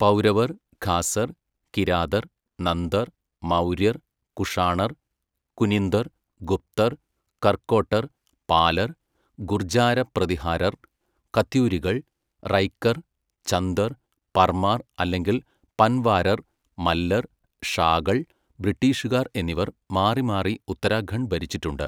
പൗരവർ, ഖാസർ, കിരാതർ, നന്ദർ, മൗര്യർ, കുഷാണർ, കുനിന്ദർ, ഗുപ്തർ, കർക്കോട്ടർ, പാലർ, ഗുർജാര പ്രതിഹാരർ, കത്യൂരികൾ, റൈകർ, ചന്ദർ, പർമാർ അല്ലെങ്കിൽ പൻവാരർ, മല്ലർ, ഷാകൾ, ബ്രിട്ടീഷുകാർ എന്നിവർ മാറിമാറി ഉത്തരാഖണ്ഡ് ഭരിച്ചിട്ടുണ്ട്.